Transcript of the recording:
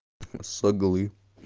соглы